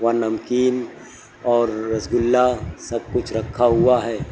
वहां नमकीन और रसगुल्ला सब कुछ रखा हुआ है।